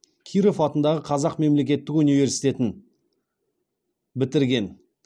киров атындағы қазақ мемлекеттік университетін бітірген